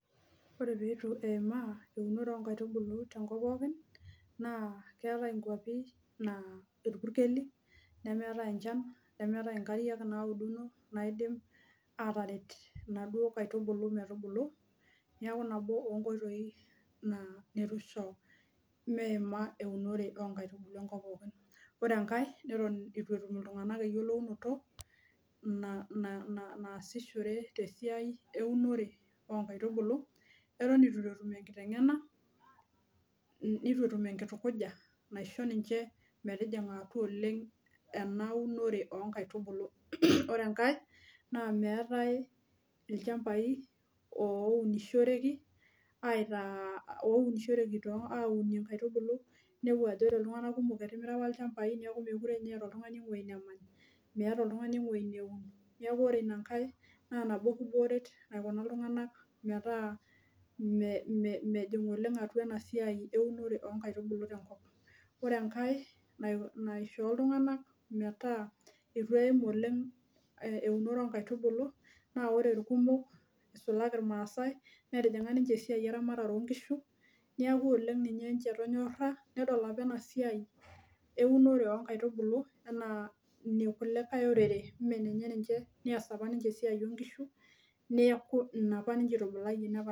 Ore peeitu eimaa eurone oonkaitubulu tenkop pookin naa keetai enchan nemeetai inkariak naauduno naidim ataret inaduo kaitubulu metubulu neeku nabo oonkoitoi neitu eisho meima eunore oonkaitubulu enkop pookin ore enkae neton eton aitu etum iltung'anak eng'eno naasishore tesiai Oonkaitubulu oton eitu etum enkiteng'ena neitu etum enkitukuja naisho ninche atua oleng ena unore oonkaitubulu ore enkae naa meetai ilchambai ooounishoreki aitaa aunie inkaitubulu ninepu ajo ore iltunganak kumok etimira apa ilchambai neeku meekure ninye eeta oltung'ani ewueji nemany meeta oltung'ani ewueji neun neeku ore ina nkae naa nabo kibooret naikuna iltung'anak metaa mejing oleng ena siai eunore oonkaitubulu tenkop ang ore enkae naishoo iltung'anak metaaa eitu eeim oleng eunore Oonkaitubulu naa ore irkumo neisulaki irmaasai netijing'a ninche esiai eramatare oonkishu neeku oleng ninche ninche etonyora nedol apa ena siaai eunore oonkaitubulu enaa enekulikae orere neeku ina apa ninche eitubulayie